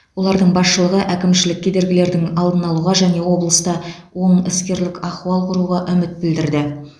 олардың басшылығы әкімшілік кедергілердің алдын алуға және облыста оң іскерлік ахуал құруға үміт білдірді